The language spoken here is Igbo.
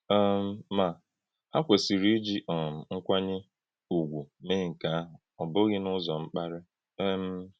um Ma, ha kwesịrị iji um nkwànyé ùgwù mee nke ahụ, ọ bụghị n’ụzọ̀ mkpàrí. um